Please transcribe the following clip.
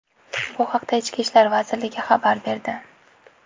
Bu haqda Ichki ishlar vazirligi xabar berdi .